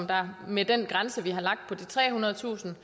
der med den grænse på de trehundredetusind